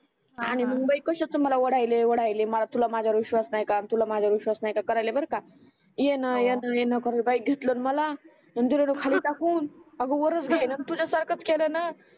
आणि हा हा मग बाई कश्याच मला ओढायले ओढायले मला तुला माझ्या वर विश्वास नाही तुला माझ्या वर विश्वास नाही करायले बर का येण येण येण करे बाई आणि घेतल मला आणि देल खाली ढकलून टाकून अग वरच घेईणा तुझ्या सारखच केल णा